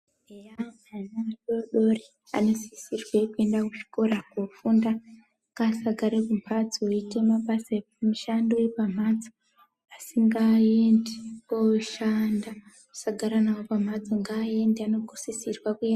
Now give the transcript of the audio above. Eya ana adodori anosisirwe kuenda ku zvikora ko funda ngasa gare ku mbatso eite mabasa emishando yepa mhatso asi ngaende oshanda tisa gara nawo pamhatso nga ende ano sisirwa kuenda.